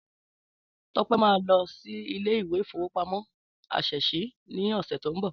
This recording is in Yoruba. Tọ́pẹ́ máa lọ sí Ilé-ìfowópamó ásèsì ní ọ̀sẹ̀ tí ó ń bọ̀